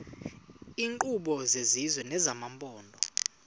iinkqubo zesizwe nezamaphondo